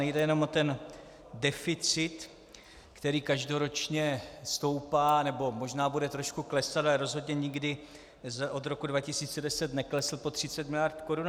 Nejde jenom o ten deficit, který každoročně stoupá, nebo možná bude trošku klesat, ale rozhodně nikdy od roku 2010 neklesl pod 30 miliard korun.